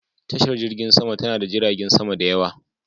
Tashar jirgin sama ta na da jiragen sama da yawa.